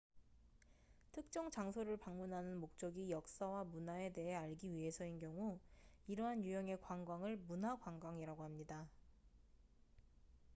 특정 장소를 방문하는 목적이 역사와 문화에 대해 알기 위해서인 경우 이러한 유형의 관광을 문화 관광이라고 합니다